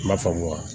M'a faamu wa